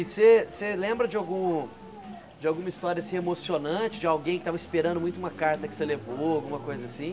E você você lembra de algum... de alguma história, assim, emocionante, de alguém que tava esperando muito uma carta que você levou, alguma coisa assim?